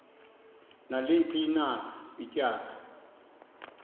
naliphi na ityala